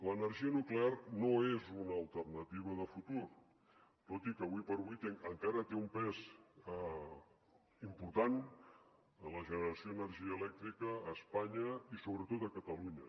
l’energia nuclear no és una alternativa de futur tot i que avui per avui encara té un pes important en la generació d’energia elèctrica a espanya i sobretot a catalunya